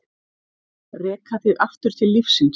Reka þig aftur til lífsins.